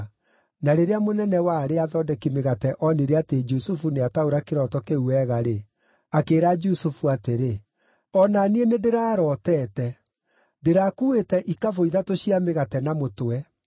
Na rĩrĩa mũnene wa arĩa athondeki mĩgate onire atĩ Jusufu nĩataũra kĩroto kĩu wega-rĩ, akĩĩra Jusufu atĩrĩ, “O na niĩ nĩndĩrarootete: Ndĩrakuuĩte ikabũ ithatũ cia mĩgate na mũtwe.